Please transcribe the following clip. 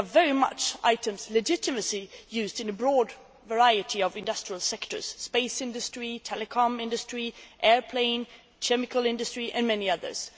They are very much items legitimately used in a broad variety of industrial sectors the space industry, the telecommunications industry, aviation, the chemical industry and many others.